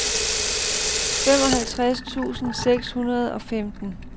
femoghalvtreds tusind seks hundrede og femten